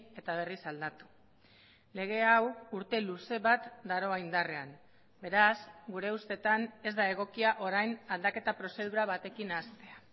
eta berriz aldatu lege hau urte luze bat daroa indarrean beraz gure ustetan ez da egokia orain aldaketa prozedura batekin hastea